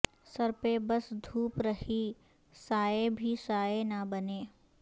سر پہ بس دھوپ رہی سائے بھی سائے نہ بنے